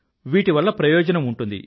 వీటి వల్ల ప్రయోజనం ఉంటుంది